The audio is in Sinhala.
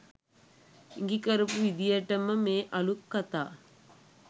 ඉඟිකරපු විදියටම මේ අලුත් කතා